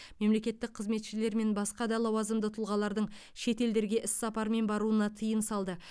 мемлекеттік қызметшілер мен басқа да лауазымды тұлғалардың шетелдерге іссапармен баруына тыйым салды